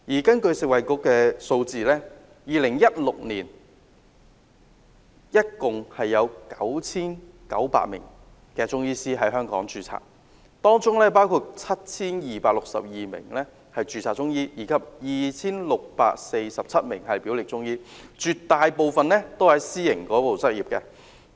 根據食物及衞生局的數字 ，2016 年共有 9,900 名中醫師在香港註冊，當中包括 7,262 名註冊中醫及 2,647 名表列中醫，當中絕大部分都在私營界別執業。